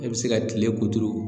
E bɛ se ka tile kuturu